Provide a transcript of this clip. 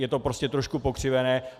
Je to prostě trošku pokřivené.